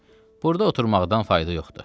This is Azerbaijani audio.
Ay kişi, burda oturmaqdan fayda yoxdu.